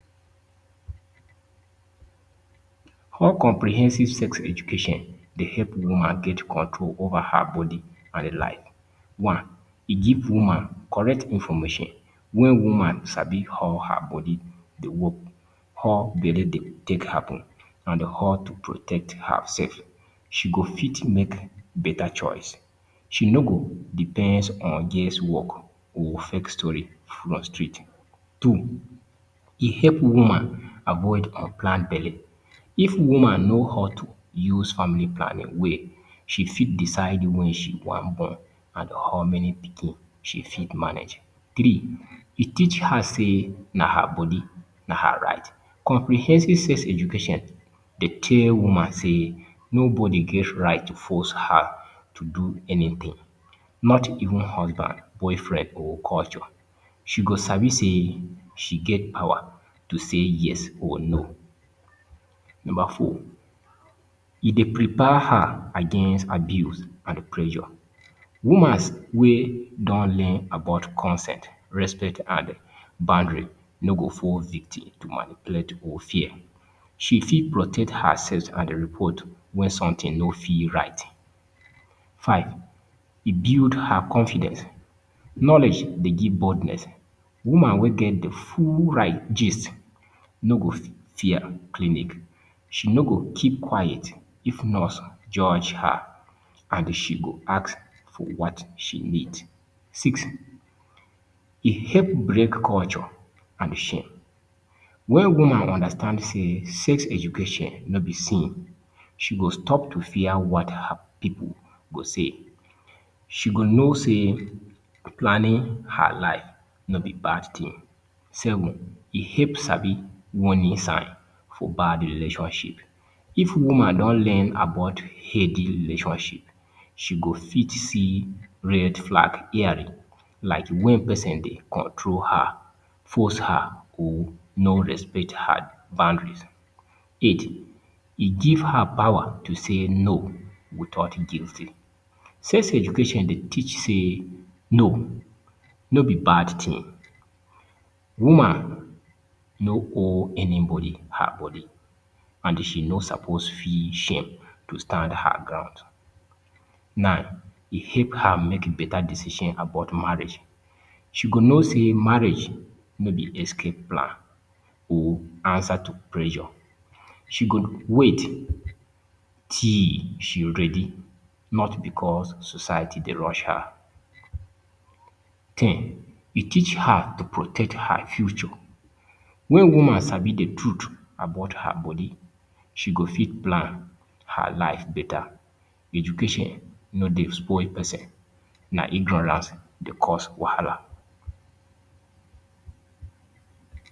How comprehensive sex education dey help woman get control over her body and One. E give woman correct information wen woman sabi how her body dey work, how belle dey take happen and how to protect herself. She go fit make better choice. She no go depends on guess work or fake story from street Two. E help woman avoid unplanned belle. If woman know how to use family planning well, she fit decide wen she wan born and how many pikin she fit manage. Three. E teach her sey na her body, na her right. Comprehensive sex education dey tell woman sey nobody get right to force her to do anything. Not even husband, boyfriend or culture, she go sabi sey she get power to say yes or no. Number four. E dey prepare her against abuse and pressure. Womans wey don learn about consent, respect and boundary no go fall victim to manipulate or fear. She fit protect herself and report when something no feel right. Five. E build her confidence. Knowledge dey give boldness. Woman wey get de full right gist no go fear clinic, she no go keep quiet if nurse judge her and she go ask for what she need. Six. E help break culture and shame. When woman understand sey sex education no be sin, she go stop to fear what her pipu go say. She go know sey planning her life no be bad thing. Seven. E help sabi warning sign for bad relationship. If woman don learn about healthy relationship, she go fit see red flag clearly, like when pesin dey control her, force her or no respect her boundaries. Eight. E give her power to say ‘no’ without guilty. Sex education dey teach sey ‘No’ no be bad thing. Woman no owe anybody her body and she no suppose feel shame to stand her ground. Nine. E help her make better decision about marriage. She go know sey marriage no be escape plan or answer to pressure. She go wait till she ready not because society dey rush her. ten. E teach her to protect her future. When woman sabi de truth about her body, she go fit plan her life better. Education no dey spoil pesin, na ignorance dey cause wahala.